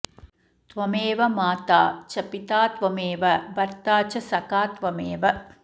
त्वमेव माता च पिता त्वमेव भर्ता च सखात्वमेव